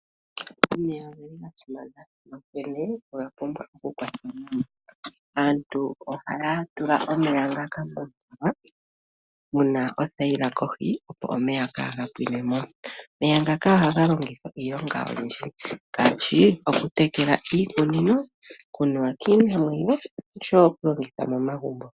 Omeya oga simana, onkene oga pumbwa okukwatwa nawa. Aantu ohaya tula omeya momithima mu na othayila kohi, opo kaaga pwine mo. Omeya ngaka ohaga longithwa iilonga oyindji ngaashi: okutekela iikunino, okunuwa kiinamwenyo nosho wo okulongitha momagumbo.